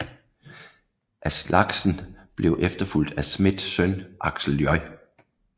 Aslaksen blev efterfulgt af Smiths søn Aksel J